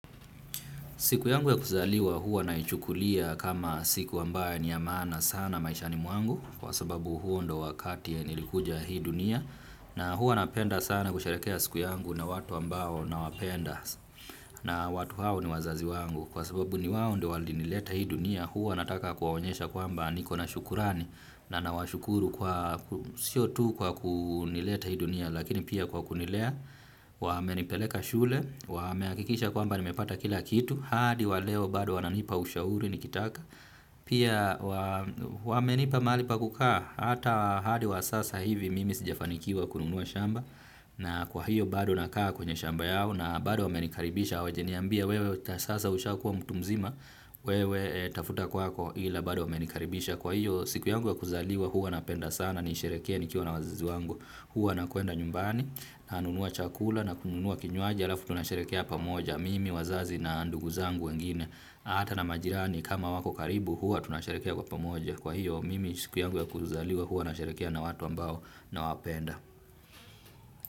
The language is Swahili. Siku yangu ya kuzaliwa huwa naichukulia kama siku ambayo ni ya maana sana maishani mwangu kwa sababu huo ndio wakati ya nilikuja hii dunia na huwa napenda sana kusherehekea siku yangu na watu ambao nawapenda na watu hao ni wazazi wangu kwa sababu ni wao ndo walinileta hii dunia huwa nataka kuwaonyesha kwamba nikona shukurani na nawashukuru kwa sio tu kwa kunileta hii dunia lakini pia kwa kunilea wamenipeleka shule wamehakikisha kwamba nimepata kila kitu. Hadi wa leo bado wananipa ushauri nikitaka. Pia wamenipa mahali pa kukaa. Hata hadi wa sasa hivi mimi sijafanikiwa kununua shamba. Na kwa hiyo bado nakaa kwenye shamba yao. Na bado wamenikaribisha hawajaniambia wewe sasa ushakuwa mtu mzima. Wewe tafuta kwako ila bado wamenikaribisha. Kwa hiyo siku yangu ya kuzaliwa huwa napenda sana. Nisherehekee nikiwa na wazazi wangu huwa nakwenda nyumbani. Nanunua chakula na kununua kinywaji. Halafu tunasherehekea pamoja, mimi wazazi na ndugu zangu wengine, hata na majirani kama wako karibu, huwa tunasherehekea kwa pamoja. Kwa hiyo, mimi siku yangu ya kuzaliwa, huwa nasherehekea na watu ambao nawapenda.